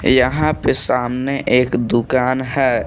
यहां पे सामने एक दुकान है।